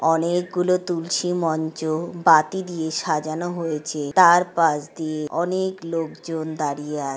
অনেক গুলো তুলসী মঞ্চ বাতি দিয়ে সাজানো হয়েছে। তার পাশ দিয়ে অনেক লোকজন দাঁড়িয়ে আছে।